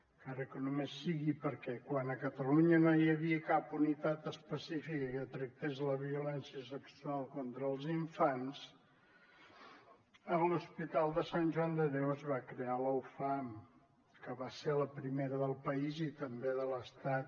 encara que només sigui perquè quan a catalunya no hi havia cap unitat específica que tractés la violència sexual contra els infants a l’hospital de sant joan de déu es va crear la ufam que va ser la primera del país i també de l’estat